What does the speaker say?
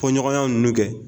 Fɔɲɔgɔnya nunu kɛ